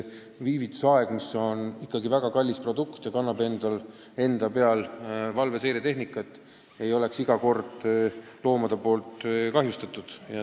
Viivitusaed on ikkagi väga kallis rajatis – see kannab ju ka valveseiretehnikat – ega tohi saada loomade poolt kahjustatud.